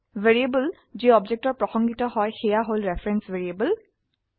variable যি অবজেক্টৰ প্ৰসঙ্গিত হয় সেয়া হল ৰেফাৰেন্স ভ্যাৰিয়েবল